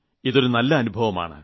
ഇത് നല്ലൊരു അനുഭവമാണ്